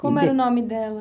Como era o nome dela?